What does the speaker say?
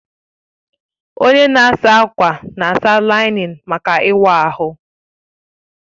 Onye na-asa ákwà na-asa láị́nín maka ịwa ahụ